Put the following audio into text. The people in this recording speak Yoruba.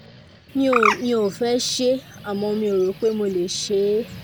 mi ò mi ò fẹ́ ṣe é àmọ́ mi ò rò pé mo lè ṣe é